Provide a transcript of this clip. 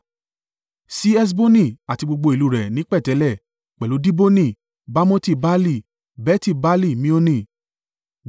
sí Heṣboni àti gbogbo ìlú rẹ̀ ní pẹ̀tẹ́lẹ̀, pẹ̀lú Diboni, Bamoti Baali, Beti-Baali-Mioni,